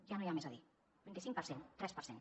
ja no hi ha més a dir vint cinc per cent tres per cent